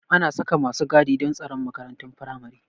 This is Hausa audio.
Ana saka masu gadi don tsaron makarantun firamare